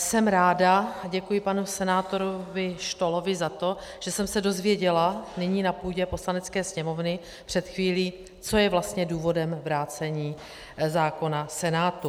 Jsem ráda, děkuji panu senátoru Štohlovi za to, že jsem se dozvěděla nyní na půdě Poslanecké sněmovny před chvílí, co je vlastně důvodem vrácení zákona Senátu.